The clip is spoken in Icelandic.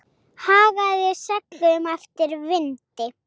Hagaði seglum eftir vindi.